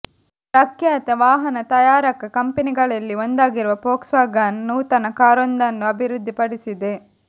ಪ್ರಖ್ಯಾತ ವಾಹನ ತಯಾರಕ ಕಂಪನಿಗಳಲ್ಲಿ ಒಂದಾಗಿರುವ ಫೋಕ್ಸ್ವ್ಯಾಗನ್ ನೂತನ ಕಾರೊಂದನ್ನು ಅಭಿವೃದ್ಧಿಪಡಿಸಿದೆ